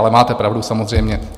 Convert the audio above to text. Ale máte pravdu, samozřejmě.